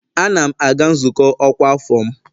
Ana m aga nzukọ ọkwa afọ m